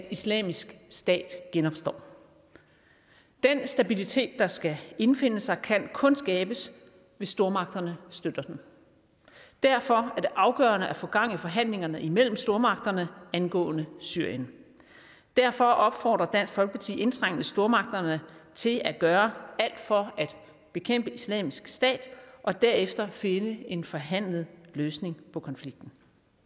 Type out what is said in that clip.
at islamisk stat genopstår den stabilitet der skal indfinde sig kan kun skabes hvis stormagterne støtter den og derfor er det afgørende at få gang i forhandlingerne imellem stormagterne angående syrien derfor opfordrer dansk folkeparti indtrængende stormagterne til at gøre alt for at bekæmpe islamisk stat og derefter finde en forhandlet løsning på konflikten